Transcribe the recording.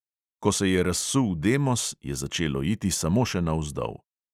Ko se je razsul demos, je začelo iti samo še navzdol.